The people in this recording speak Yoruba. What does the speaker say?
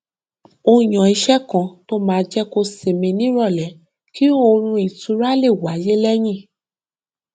ó yan ìṣe kan tó máa jẹ kó sinmi nírọlẹ kí oorun ìtura lè wáyé lẹyìn